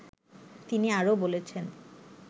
তিনি আরো বলেছেন